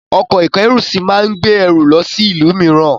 Ọkọ̀-ìkẹ́rùsí máa gbé ẹrù lọ sí ìlú mìíràn.